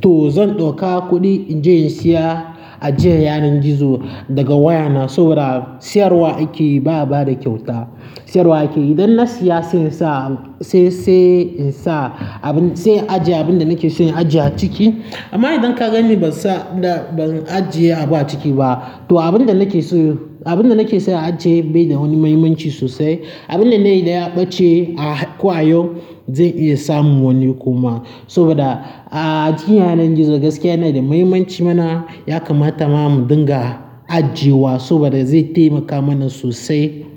To zan ɗauka kuɗi in je in siya ajiyan yaren gizo daga wayana saboda siyarwa ake yi ba bada kyauta. Siyarwa ake yi. Idan na siya sai in sa, sai, sai in sa abin, sai ajiye abin da nake son ajiye a ciki. Amma idan ka gani ban sa da, ban ajiye a ba ciki ba. To abin da nake so, abin da nake son ajiye bai da wani mahimmanci sosai. Abin da na yi idan ya ɓace a kwayoyi zan iya samun wani kuma. Saboda ajiye yaren gizo gaskiya yana da mahimmanci mana ya kamata ma mu dinga ajiyewa saboda zai taimaka mana sosai.